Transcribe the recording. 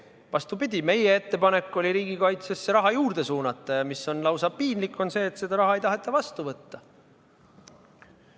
Vastupidi, meie ettepanek oli riigikaitsesse raha juurde suunata ja lausa piinlik on see, et seda raha ei taheta vastu võtta.